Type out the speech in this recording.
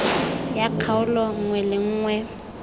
ya kgaolo nngwe le nngwe